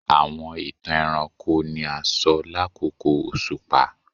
Awọn itan ẹranko ni a sọ lakoko oṣupa